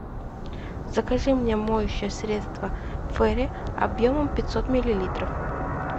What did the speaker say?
закажи мне моющее средство фейри объемом пятьсот миллилитров